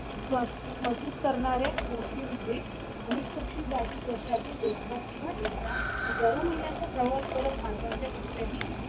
मस्जिद करणारे गोष्टी म्हणजे अनेक पक्षी जातील वर्षा तून दोनदा किंवा एकदा हजारो मैलांचा प्रवास भारताच्या कुठल्याही